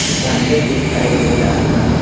झंडे दिखाई दे रहे हैं ।